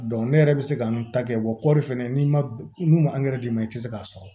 ne yɛrɛ bɛ se ka n ta kɛ wa kɔɔri fɛnɛ n'i ma n'u ma d'i ma i tɛ se k'a sɔrɔ